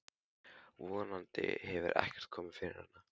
Von andi hefur ekkert komið fyrir hana.